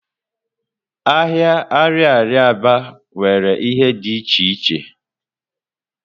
Ahịa ariaria Aba nwere ihe di iche iche.